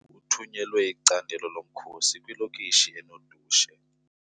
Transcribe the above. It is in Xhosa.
Kuthunyelwe icandelo lomkhosi kwilokishi enodushe.